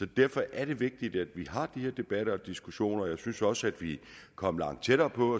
derfor er det vigtigt at vi har de her debatter og diskussioner jeg synes også at vi er kommet langt tættere på